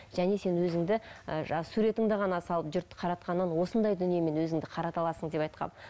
және сен өзіңді ы жаңа суретіңді ғана салып жұртты қаратқаннан осындай дүниемен өзіңді қарата аласың деп айтқанмын